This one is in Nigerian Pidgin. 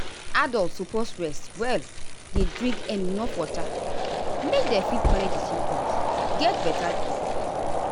adults suppose rest well dey drink enuf water make dem fit manage di symptoms get beta quick.